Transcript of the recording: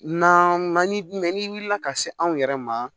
Na man di ni wulila ka se anw yɛrɛ ma